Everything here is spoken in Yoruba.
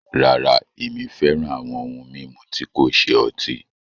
Rárá, ẹmi fẹ́ràn awọn ohun mimú tí kò ṣẹ ọ̀tí